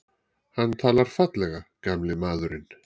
Hann talar fallega, gamli maðurinn.